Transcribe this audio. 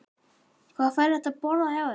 Magnús: Hvað fær hann að borða hjá þér?